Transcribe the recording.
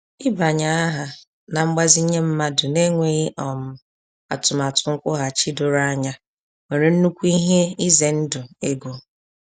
Ịbanye aha na mgbazinye mmadụ n'enweghị um atụmatụ nkwughachi doro anya nwere nnukwu ihe ize ndụ ego.